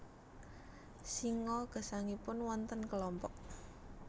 Singa gesangipun wonten kelompok